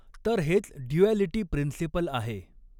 तर हेच duality principle आहे.